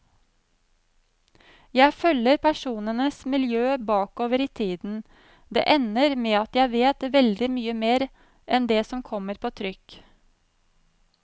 Jeg følger personenes miljø bakover i tiden, det ender med at jeg vet veldig mye mer enn det som kommer på trykk.